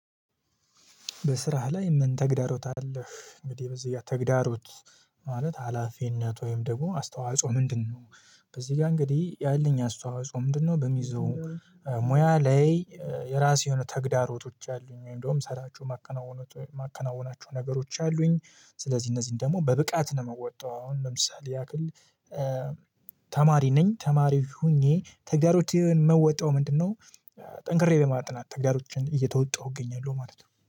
በስራህ ላይ ምን ተግዳሮት አለህ እንዴ? በዚህ ተግዳሮት ማለት ሀላፊነት ወይም ደግሞ አስተዋጽኦ ምንድነው? በዚህ ጋር እንግዲህ ያለኝ አስተዋጽኦ ምንድነው? በሚይዘው ሙያ ላይ የራሴ የሆኑ ተግዳሮቶች አሉኝ ወይም ደግሞ ሰራችሁ ማከናወን ማከናወናቸው ነገሮች አሉኝ። ስለዚህ እነዚህን ደግሞ በብቃት ነው የምወጣው አሁን ለምሳሌ ያክል ተማሪ ነኝ ተማሪው ሆኜ ተግዳሮችን ምወጣው ምንድነው? ጠንክሬ ለማጥናት ተግዳሮችን እየተወጣሁ እገኛለሁ ማለት ነው